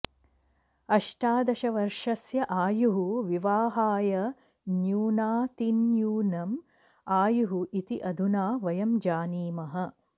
अष्टादशवर्षस्य आयुः विवाहाय न्यूनातिन्यूनम् आयुः इति अधुना वयं जानीमः